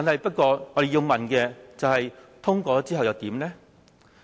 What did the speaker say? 不過，我們要問，通過之後又如何呢？